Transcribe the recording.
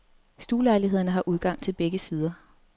Stuelejlighederne har udgang til begge sider.